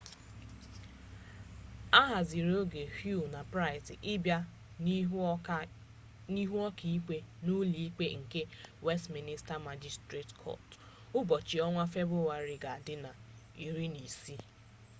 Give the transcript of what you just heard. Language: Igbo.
ahazirioge huhne na pryce ibia n'ihu oka ikpe n'ulo ikpe nke westiminster magistrates court ubochi onwa februari ga di na 16